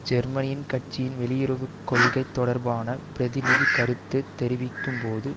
ஜெர்மனியின் கட்சியின் வெளியுறவு கொள்கை தொடர்பான பிரதிநிதி கருத்து தெரிவிக்கும் போது